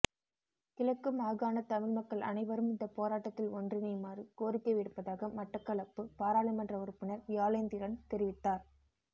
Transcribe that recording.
கிழக்கு மாகாண தமிழ் மக்கள் அனைவரும் இந்த போராட்டத்தில் ஒன்றிணையுமாறு கோரிக்கை விடுப்பதாக மட்டக்களப்பு பாராளுமன்ற உறுப்பினர் வியாளேந்திரன் தெரிவித்தார்